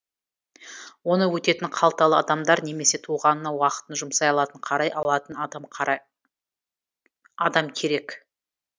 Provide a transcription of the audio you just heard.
оны өтетін қалталы адамдар немесе туғанына уақытын жұмсай алатын қарай алатын адам керек